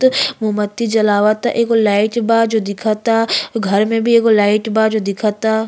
तो मोमबत्ती जलवता। एगो लाइट बा जो दिखता। घर में भी एगो लाइट बा जो दिखता।